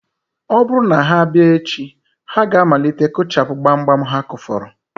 Ọ bụrụ na ha bịa echi, ha ga-amalite kụchapụ gbamgbam ha kụfọrọ